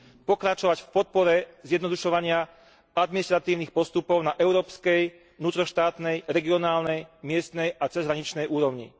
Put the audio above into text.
pokračovať v podpore zjednodušovania administratívnych postupov na európskej, vnútroštátnej, regionálnej, miestnej a cezhraničnej úrovni.